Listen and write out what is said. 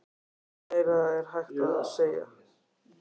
Hvað meira er hægt að segja?